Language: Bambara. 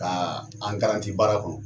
Ka an baara kɔnɔ .